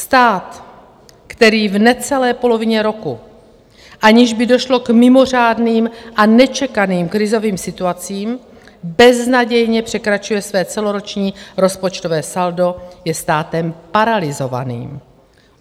Stát, který v necelé polovině roku, aniž by došlo k mimořádným a nečekaným krizovým situacím, beznadějně překračuje své celoroční rozpočtové saldo, je státem paralyzovaným.